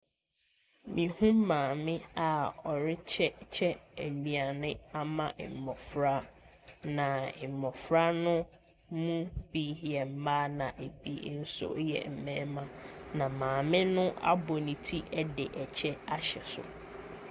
Me hu maame a ɔrekyekyɛ aduane ama mmɔfra na mmɔfra no mo bi yɛ mmaa na ebi nso yɛ mmɛɛma na maame no abɔ ne ti de ɛkyɛ ahyɛ so.